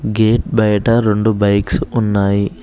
Gate బయట రొండు bikes ఉన్నాయి.